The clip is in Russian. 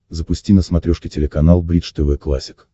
запусти на смотрешке телеканал бридж тв классик